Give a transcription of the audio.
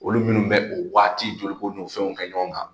Olu minnu bɛ o waati joliko n'o fɛnw kɛ ɲɔgɔn kan